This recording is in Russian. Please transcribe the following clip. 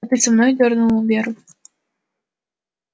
а ты со мной и дёрнул он веру